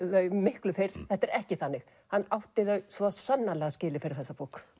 þau miklu fyrr þetta er ekki þannig hann átti þau sannarlega skilið fyrir þessa bók